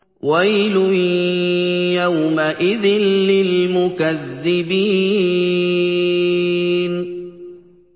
وَيْلٌ يَوْمَئِذٍ لِّلْمُكَذِّبِينَ